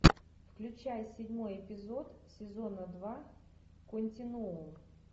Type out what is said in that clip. включай седьмой эпизод сезона два континуум